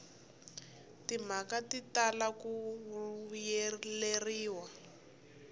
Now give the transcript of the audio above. timhaka ti tala ku vuyeleriwa